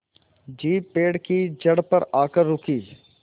jeep पेड़ की जड़ पर आकर रुकी